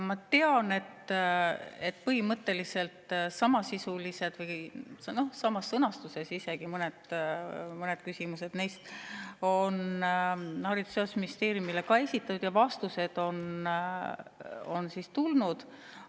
Ma tean, et põhimõtteliselt samasisulised, isegi mõned samas sõnastuses küsimused on Haridus‑ ja Teadusministeeriumile esitatud ja ka vastused on tulnud.